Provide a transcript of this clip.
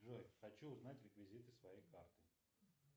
джой хочу узнать реквизиты своей карты